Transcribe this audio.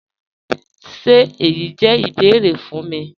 Ṣé èyí jẹ́ ìbẹ̀ẹ̀rẹ̀ fún mí?